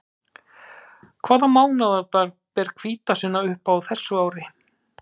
Hvaða mánaðardag ber hvítasunnudag upp á þessu ári?